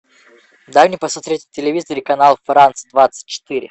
дай мне посмотреть на телевизоре канал франц двадцать четыре